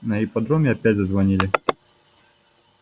на ипподроме опять зазвонили